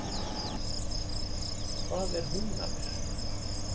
Hvað er Húnaver?